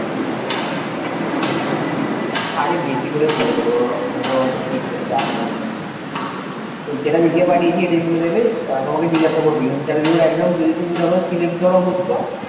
আরে বেশি করে বলে দেবে অত ওরা check করতে আসবে না তোমার যেটা লিখে পাঠিয়েছি এটাই বলে দেবে আহ তোমাকে জিজ্ঞাসা করবে interview র একদম যদি তুমি ধর যদি select ধর হচ্ছো,